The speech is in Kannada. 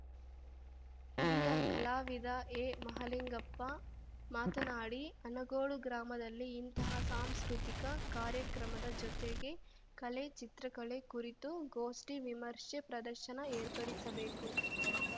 ಹಿರಿಯ ಕಲಾವಿದ ಎಮಹಾಲಿಂಗಪ್ಪ ಮಾತನಾಡಿ ಅನಗೋಡು ಗ್ರಾಮದಲ್ಲಿ ಇಂತಹ ಸಾಂಸ್ಕೃತಿಕ ಕಾರ್ಯಕ್ರಮದ ಜೊತೆಗೆ ಕಲೆ ಚಿತ್ರಕಲೆ ಕುರಿತು ಗೋಷ್ಠಿ ವಿಮರ್ಶೆ ಪ್ರದರ್ಶನ ಏರ್ಪಡಿಸಬೇಕು